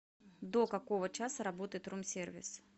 до какого часа работает рум сервис